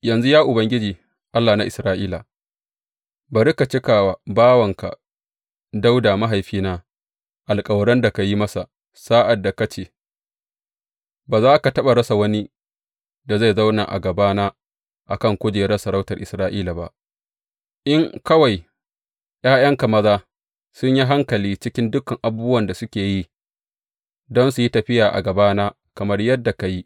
Yanzu, ya Ubangiji, Allah na Isra’ila, bari ka cika wa bawanka Dawuda mahaifina alkawaran da ka yi masa sa’ad da ka ce, Ba za ka taɓa rasa wani da zai zauna a gabana a kan kujerar sarautar Isra’ila ba, in kawai ’ya’yanka maza sun yi hankali cikin dukan abubuwan da suke yi, don su yi tafiya a gabana kamar yadda ka yi.’